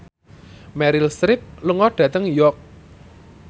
Meryl Streep lunga dhateng York